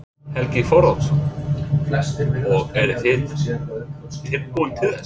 Helgi Þorvaldsson: Og eruð þið tilbúin til þess?